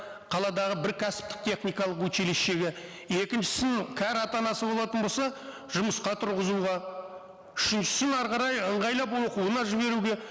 қаладағы бір кәсіптік техникалық училищиеге екіншісін кәрі ата анасы болатын болса жұмысқа тұрғызуға үшіншісін әрі қарай ыңғайлап оқуына жіберуге